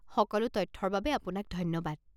সকলো তথ্যৰ বাবে আপোনাক ধন্যবাদ।